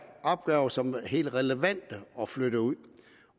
opgaver som kan være helt relevante at flytte ud